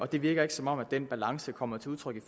det virker ikke som om den balance kommer til udtryk i